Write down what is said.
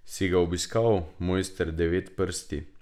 Si ga obiskal, mojster Devetprsti?